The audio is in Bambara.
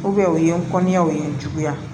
u ye n kɔnniyaw ye n juguya